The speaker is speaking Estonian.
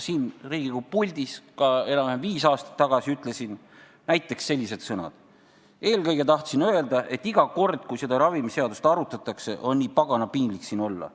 Enam-vähem viis aastat tagasi ütlesin siin Riigikogu puldis näiteks sellised sõnad: "Eelkõige tahtsin öelda, et iga kord, kui seda ravimiseadust arutatakse, on nii pagana piinlik siin olla.